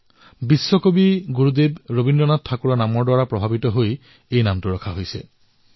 তেওঁৰ নাম বিশ্বকবি গুৰুদেৱ ঠাকুৰৰ দ্বাৰা অনুপ্ৰেৰিত হৈ ৰখা হৈছে